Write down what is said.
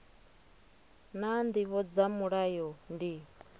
naa ndivho dza mulayo ndi